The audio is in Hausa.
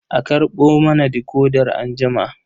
A karɓo mana decoder anjima.